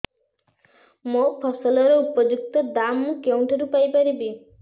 ମୋ ଫସଲର ଉପଯୁକ୍ତ ଦାମ୍ ମୁଁ କେଉଁଠାରୁ ପାଇ ପାରିବି